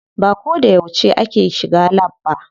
Ba ko da yauce ake shiga lab ba.